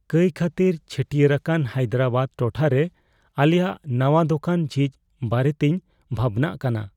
ᱠᱟᱹᱭ ᱠᱷᱟᱹᱛᱤᱨ ᱪᱷᱟᱹᱴᱭᱟᱹᱨ ᱟᱠᱟᱱ ᱦᱟᱭᱫᱨᱟᱵᱟᱫᱽ ᱴᱚᱴᱷᱟᱨᱮ ᱟᱞᱮᱭᱟᱜ ᱱᱟᱶᱟ ᱫᱳᱠᱟᱱ ᱡᱷᱤᱡ ᱵᱟᱨᱮᱛᱤᱧ ᱵᱷᱟᱵᱽᱱᱟᱜ ᱠᱟᱱᱟ ᱾